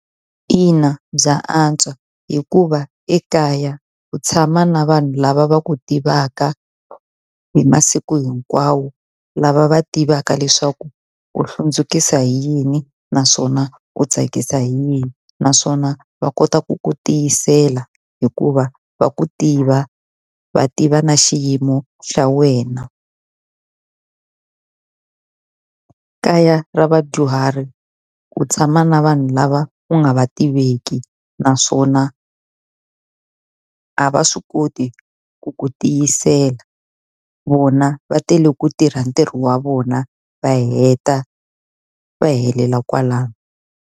Ina bya antswa hikuva ekaya ku tshama na vanhu lava va ku tivaka hi masiku hinkwawo, lava va tivaka leswaku u hlundzukisa hi yini naswona ku tsakisa hi yini. Naswona va kota ku ku tiyisela hikuva va ku tiva va tiva na xiyimo xa wena. Kaya ra vadyuhari ku tshama na vanhu lava ku nga va tiveki, naswona a va swi koti ku ku tiyisela. Vona va tele ku tirha ntirho wa vona va heta va helela kwalano.